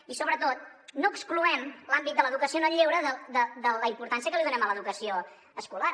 i sobretot no excloem l’àmbit de l’educació en el lleure de la importància que li donem a l’educació escolar